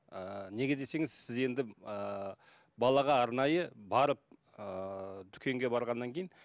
ііі неге десеңіз сіз енді ііі балаға арнайы барып ыыы дүкенге барғаннан кейін